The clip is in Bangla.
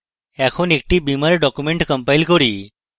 এখন একটি beamer document compile করা যাক